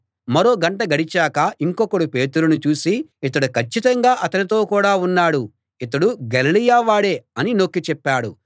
మరో గంట గడిచాక ఇంకొకడు పేతురును చూసి ఇతడు కచ్చితంగా అతనితో కూడా ఉన్నాడు ఇతడు గలిలయ వాడే అని నొక్కి చెప్పాడు